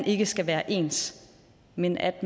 ikke skal være ens men at